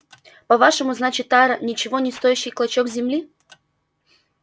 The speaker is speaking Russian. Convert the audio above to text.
по-вашему значит тара ничего не стоящий клочок земли